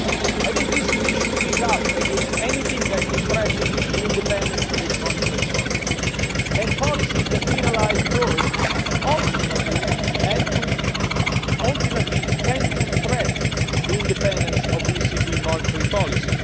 I think the ECB should speak up against anything that could threaten the independence of its monetary policy, and policies that penalise growth ultimately tend to threaten the independence of the ECB monetary policy.